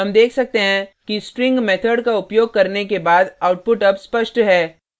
हम देख सकते हैं कि string मेथड का उपयोग करने के बाद output as स्पष्ट है